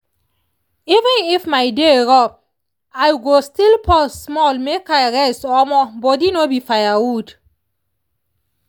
even if my day rough i go still pause small make i rest omoh body no be firewood.